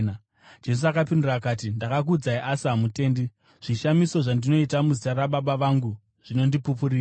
Jesu akapindura akati, “Ndakakuudzai, asi hamutendi. Zvishamiso zvandinoita muzita raBaba vangu zvinondipupurira,